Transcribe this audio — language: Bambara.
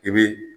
I bi